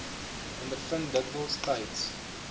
ondervind dikwels tyds